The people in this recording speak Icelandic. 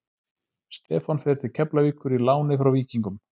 Stefán fer til Keflavíkur í láni frá Víkingum.